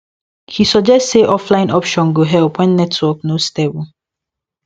he suggest say offline option go help when network no stable